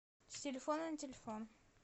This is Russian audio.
с телефона на телефон